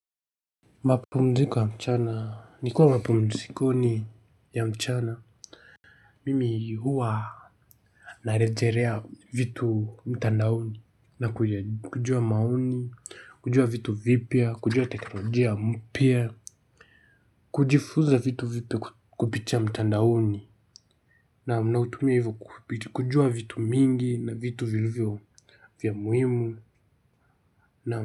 Mapumziko ya mchana, nikiwampumzikoni ya mchana. Mimi huwa narejelea vitu mtandaoni. Na kujua maoni, kujua vitu vipya, kujua teknolojia mpia kujifunza vitu kupitia mtandaoni. Naam nautumia hivyo kujua vitu mingi na vitu viliyo vya muhimu.